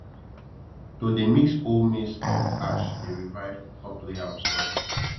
to dey mix old maize stalk ash dey revive top layer of soil